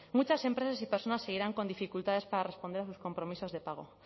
muchas empresas y personas seguirán con dificultades para responder a sus compromisos de pago